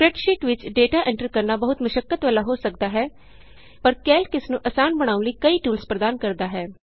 spreadsheet ਵਿਚ data enter ਕਰਨਾ ਬਹੁਤ ਮੁਸ਼ੱਕਤ ਵਾਲਾ ਹੋ ਸਕਦਾ ਹੈ ਪਰ ਕੈਲਕ ਇਸ ਨੂੰ ਆਸਾਨ ਬਣਾਉਣ ਲਈ ਕਈ ਟੂਲਸ ਪ੍ਰਦਾਨ ਕਰਦਾ ਹੈ